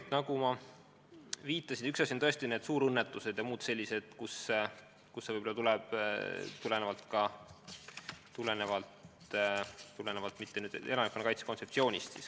Jah, nagu ma viitasin, üks asi on tõesti suurõnnetused ja muud sellised olukorrad, mis käivad elanikkonnakaitse kontseptsiooni alla.